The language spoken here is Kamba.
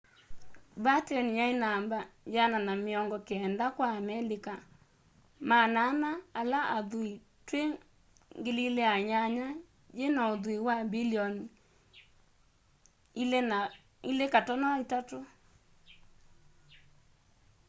batten yai namba 190 kwa amelika 400 ala athui twi 2008 yina uthui wa mbilioni $2.3